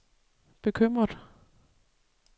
bekymret